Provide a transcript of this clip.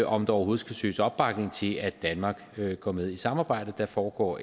om der overhovedet skal søges opbakning til at danmark går med i samarbejdet der foregår